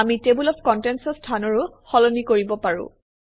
আমি table of contents অৰ স্থানৰো সলনি কৰিব পাৰোঁ